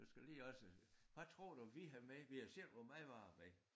Du skal lige også hvad tror du vi havde med vi havde selv vore madvarer med